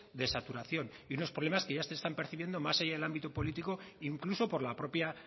de saturación y unos problemas que ya se están percibiendo más allá del ámbito político incluso por la propia